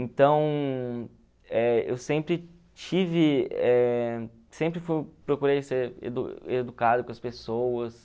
Então, eh eu sempre tive, eh sempre procurei ser edu educado com as pessoas.